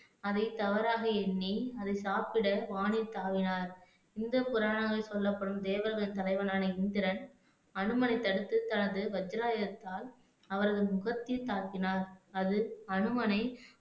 அதைத் தவறாக எண்ணி அதை சாப்பிட வானில் தாவினார் இந்துப் புராணங்களில் சொல்லப்படும் தேவர்கள் தலைவனான இந்திரன் அனுமனை தடுத்து தனது வஜ்ராயுதத்தால் அவரது முகத்தில் தாக்கினார் அது அனுமனை